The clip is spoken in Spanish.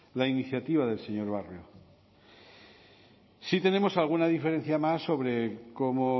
la iniciativa del señor barrio sí tenemos alguna diferencia más sobre cómo